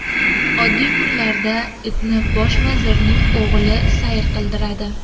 Oddiy kunlarda itni bosh vazirning o‘g‘li sayr qildiradi.